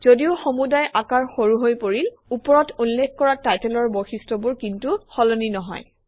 যদিও সমুদায় আকাৰ সৰু হৈ পৰিল ওপৰত উল্লেখ কৰা টাইটেলৰ বৈশিষ্টবোৰ কিন্তু সলনি নহয়